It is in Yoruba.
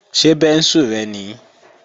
Ṣé bẹ́ńsù rẹ nìí?